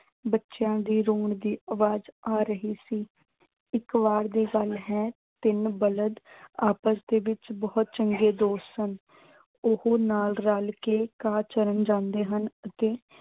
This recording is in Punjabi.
ਬੱਚਿਆਂ ਦੇ ਰੋਣ ਦੀ ਆਵਾਜ਼ ਆ ਰਹੀ ਸੀ। ਇੱਕ ਵਾਰ ਦੀ ਗੱਲ ਹੈ ਤਿੰਨ ਬਲਦ ਆਪਸ ਵਿੱਚ ਬਹੁਤ ਚੰਗੇ ਦੋਸਤ ਸਨ। ਉਹ ਨਾਲ ਰਲ ਕੇ ਘਾਹ ਚਰਨ ਜਾਂਦੇ ਹਨ ਅਤੇ